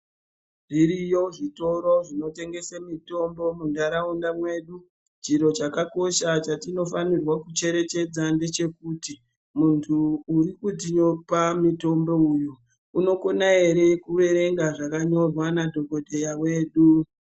Zviriyo zvitoro zvinotengesa mitombo muntaraunda mwedu. Chiro chakakosha chatinofanirwa kucherechedza ndechekuti muntu urikutipa mitombo uyu unokona ere kuerenga zvakanyorwa nadhokodheya wedu.